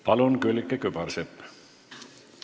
Palun, Külliki Kübarsepp!